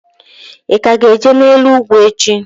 I ka ga-eje n'elu ugwu echi?